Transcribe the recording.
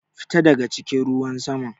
Fita daga cikin ruwan saman!